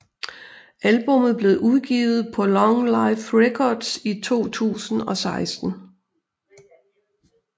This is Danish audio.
Albummet blev udgivet på LongLife Records i 2016